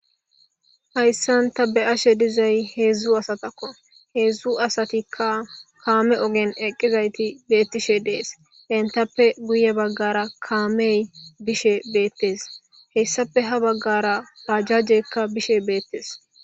Hayssanta be ashe dizay heedzdzu asatakko heedzdzu asatikka kaame ogen eqqizayti beettishe dees entappe guye baggara kaamey bishe beettes hessape ha baggara pajjajekka bishe beettes.